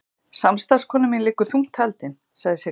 Samstarfskona mín liggur þungt haldin, sagði Sigga.